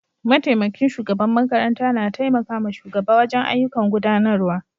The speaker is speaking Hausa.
Mataimakin shugaban makaranta na taimaka ma shugaba wajen ayyukan gudanarwa